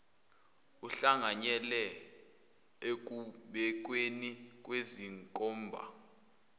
uhlanganyele ekubekweni kwezinkomba